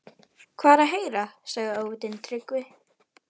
Hvað er að heyra, sagði Ofvitinn, Tryggvi